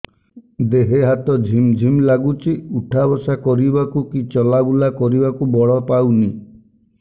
ଦେହେ ହାତ ଝିମ୍ ଝିମ୍ ଲାଗୁଚି ଉଠା ବସା କରିବାକୁ କି ଚଲା ବୁଲା କରିବାକୁ ବଳ ପାଉନି